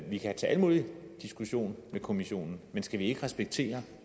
vi kan tage alle mulige diskussioner med kommissionen men skal vi ikke respektere